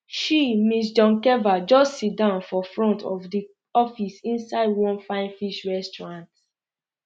she ms doncheva just siddon for front um of di office inside one fine fish restaurant